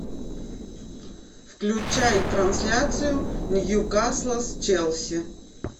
включай трансляцию ньюкасла с челси